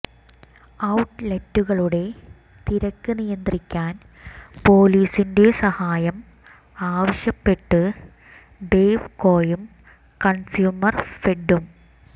out ലെറ്റുകളുടെ തിരക്ക് നിയന്ത്രിക്കാൻ പൊലീസിൻ്റെ സഹായം ആവശ്യപ്പെട്ട് ബെവ് കോയും കൺസ്യൂമർ ഫെഡും